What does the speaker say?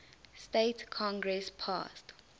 states congress passed